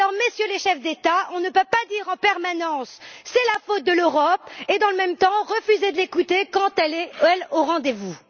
Alors, Messieurs les chefs d'État, on ne peut pas dire en permanence C'est la faute de l'Europe et, dans le même temps, refuser de l'écouter quand elle même est au rendez vous.